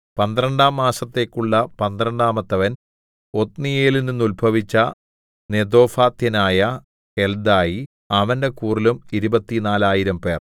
പന്ത്രണ്ടാം മാസത്തേക്കുള്ള പന്ത്രണ്ടാമത്തവൻ ഒത്നീയേലിൽനിന്നുത്ഭവിച്ച നെതോഫാത്യനായ ഹെൽദായി അവന്റെ കൂറിലും ഇരുപത്തിനാലായിരംപേർ 24000